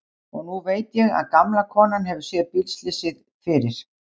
Og nú veit ég að gamla konan hefur séð bílslysið fyrir.